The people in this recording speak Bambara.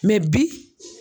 bi